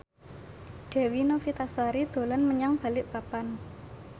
Dewi Novitasari dolan menyang Balikpapan